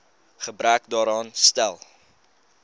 gebrek daaraan stel